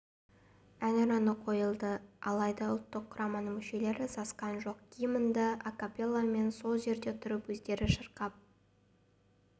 әнұраны қойылды алайда ұлттық құраманың мүшелері сасқан жоқ гимнді акапелламен сол жерде тұрып өздері шырқап